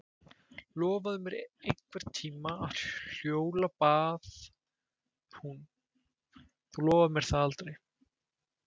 Lofaðu mér einhvern tíma að hjóla bað hún, þú lofar mér það aldrei.